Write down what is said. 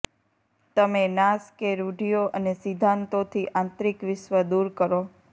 તમે નાશ કે રૂઢિઓ અને સિદ્ધાંતો થી આંતરિક વિશ્વ દૂર કરો